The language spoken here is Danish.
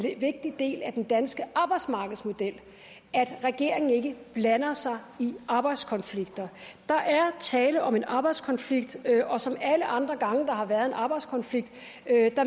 vigtig del af den danske arbejdsmarkedsmodel at regeringen ikke blander sig i arbejdskonflikter der er tale om en arbejdskonflikt og som alle andre gange hvor der har været en arbejdskonflikt